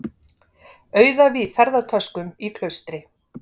Auðæfi í ferðatöskum í klaustri